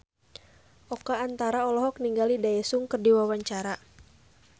Oka Antara olohok ningali Daesung keur diwawancara